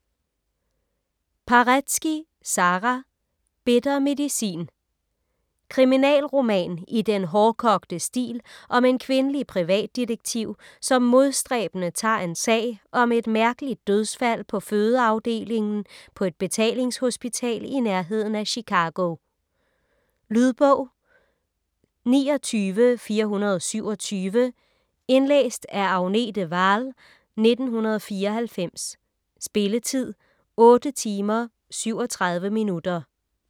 Paretsky, Sara: Bitter medicin Kriminalroman i den hårdkogte stil om en kvindelig privatdetektiv, som modstræbende tager en sag om et mærkeligt dødsfald på fødeafdelingen på et betalingshospital i nærheden af Chicago. Lydbog 29427 Indlæst af Agnete Wahl, 1994. Spilletid: 8 timer, 37 minutter.